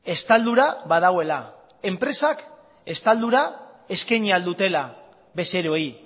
estaldura badagoela enpresak estaldura eskaini ahal dutela bezeroei